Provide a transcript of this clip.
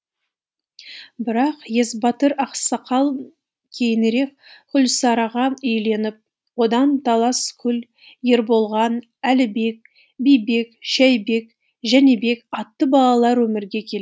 бірақ есбатыр ақсақал кейінірек күлсараға үйленіп одан таласкүл ерболған әлібек бибек шәйбек жәнібек атты балалар өмірге кел